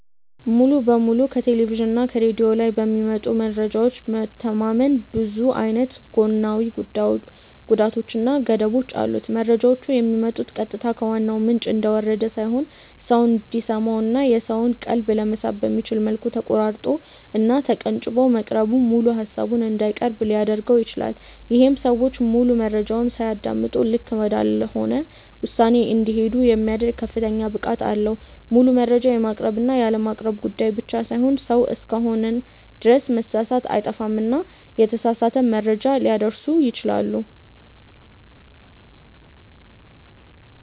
ሙሉ በሙሉ ከቴሌቭዥን እና ከሬድዮ ላይ በሚመጡ መረጃዎች መተማመን ብዙ አይነት ጎናዊ ጉዳቶች እና ገደቦች አሉት። መረጃዎቹ የሚመጡት ቀጥታ ከዋናው ምንጭ እንደወረደ ሳይሆን ሰው እንዲሰማው እና የሰውን ቀልብ ለመሳብ በሚመች መልኩ ተቆራርጦ እና ተቀንጭቦ መቅረቡ ሙሉ ሃሳቡን እንዳይቀርብ ሊያድርገው ይችላል። ይሄም ሰዎች ሙሉ መረጃውን ሳያደምጡ ልክ ወዳልሆነ ውሳኔ እንዲሄዱ የሚያደርግ ከፍተኛ ብቃት አለው። ሙሉ መረጃ የማቅረብ እና ያለማቅረብ ጉዳይ ብቻ ሳይሆን ሰው እስከሆንን ድረስ መሳሳት አይጠፋምና የተሳሳተ መረጃ ሊያደርሱ ይችላሉ።